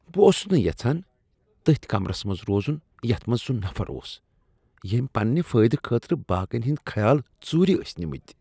بہٕ اوسس نہٕ یژھان تتھۍ کمرس منز روزن یتھ منٛز سُہ نفر اوس ییٚمۍ پننِہ فٲیدٕ خٲطرٕ باقین ہٕندۍ خیال ژورِ ٲسۍ نِمِتۍ۔